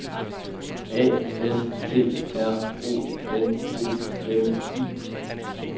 A S T R O N O M I